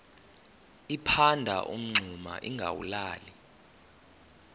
liphanda umngxuma lingawulali